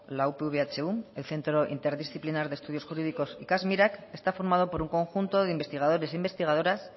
la upv ehu el centro interdisciplinar de estudios jurídicos ikasmirak está formado por un conjunto de investigadores e investigadoras